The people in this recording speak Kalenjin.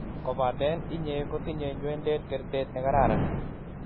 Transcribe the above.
kopaten inye kotinye nywenedet kertet ne kararan